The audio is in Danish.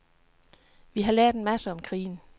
Vi har lært en masse om krigen.